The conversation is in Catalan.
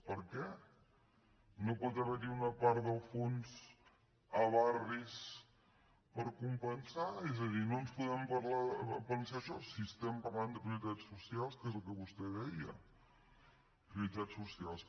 per què no pot haver hi una part del fons a barris per compensar és a dir no podem pensar això si estem parlant de prioritats socials que és el que vostè deia prioritats socials